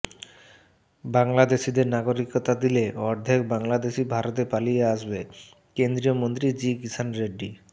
বাংলাদেশিদের নাগরিকতা দিলে অর্ধেক বাংলাদেশী ভারতে পালিয়ে আসবেঃ কেন্দ্রীয় মন্ত্রী জি কিষাণ রেড্ডি